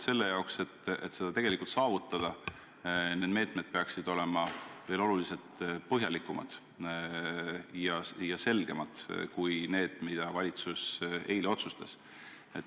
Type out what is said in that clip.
Ka on nad arvanud, et selle saavutamiseks peaksid meetmed olema oluliselt põhjalikumad ja selgemad kui need, mis valitsus eile otsustas.